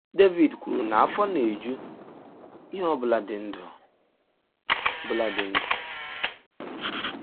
Devid kwuru na afọ na - eju “ ihe ọ bụla dị ndụ bụla dị ndụ. ”